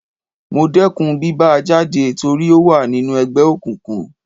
Mo dẹkùn bí bá a jáde torí ó wà nínú ẹgbẹ́ òkùnkùn.